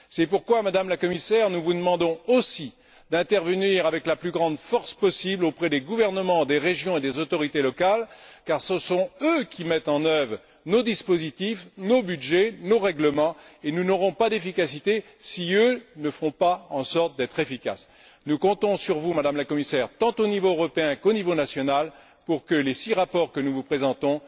C'est pourquoi, Madame la Commissaire, nous vous demandons aussi d'intervenir avec la plus grande force possible auprès des gouvernements, des régions et des autorités locales, car ce sont eux qui mettent en œuvre nos dispositifs, nos budgets, nos règlements, et nous n'aurons pas d'efficacité si eux ne font pas en sorte d'être efficaces. Nous comptons sur vous, Madame la Commissaire, tant au niveau européen qu'au niveau national pour que les six rapports que nous vous présentons